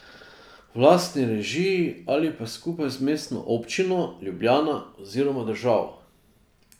V lastni režiji ali pa skupaj z Mestno občino Ljubljana oziroma državo.